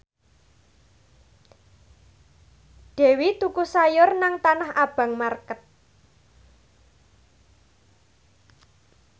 Dewi tuku sayur nang Tanah Abang market